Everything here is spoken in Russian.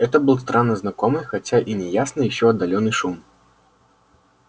это был странно знакомый хотя и неясный ещё отдалённый шум